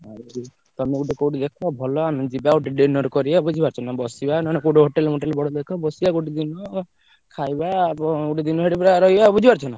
ଆଉ ତମେ ଗୋଟେ କୋଉଠି ଦେଖ ଭଲ ଆମେ ଯିବା ଗୋଟେ dinner କରିଆ ବୁଝିପାରୁଛ ନା ବସିବା ନହେନେ hotel ମୋଟେଲ୍ କୋଉଠି ଦେଖଅ ବସିଆ ଗୋଟେ ଦିନ ଖାଇବା ଗୋଟେ ଦିନ ବୁଝିପାରୁଛନା?